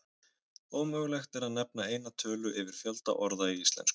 Ómögulegt er að nefna eina tölu yfir fjölda orða í íslensku.